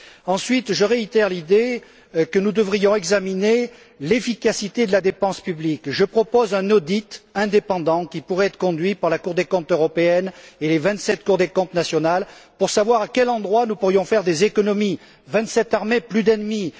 Ensuite, je réitère l'idée que nous devrions examiner l'efficacité de la dépense publique. Je propose un audit indépendant, qui pourrait être conduit par la Cour des comptes européenne et les vingt sept cours des comptes nationales, pour savoir où nous pourrions faire des économies vingt sept armées, plus d'ennemis